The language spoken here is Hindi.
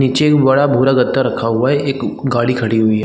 पीछे एक बड़ा भूरा गद्दा रखा हुआ है एक गाड़ी खड़ी हुई है।